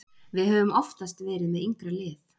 Við höfum oftast verið með yngra lið.